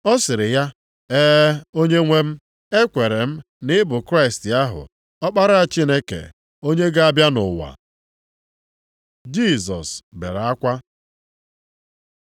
Ọ sịrị ya, “E, Onyenwe m, ekwere m na ị bụ Kraịst ahụ, Ọkpara Chineke, onye ga-abịa nʼụwa.” Jisọs bere akwa